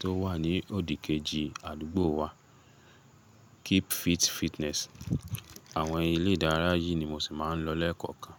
tó wà ní òdìkejì àdúgbò wa, Keep Fit Fitness. Àwọn ilé ìdárayá yìí ni mo sì máa ń lọ lẹ́ẹ̀kọ̀kan.